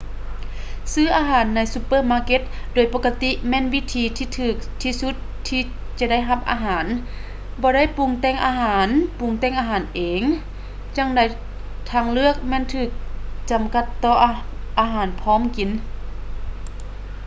ຊື້ອາຫານໃນຊຸບເປີມາເກັດໂດຍປົກກະຕິແມ່ນວິທີທີ່ຖືກທີ່ສຸດທີ່ຈະໄດ້ຮັບອາຫານ ບໍ່ໄດ້ປຸງແຕ່ງອາຫານປຸງແຕ່ງອາຫານເອງ ຈັງໃດທາງເລືອກແມ່ນຖືກຈຳກັດຕໍ່ອາຫານພ້ອມກິນ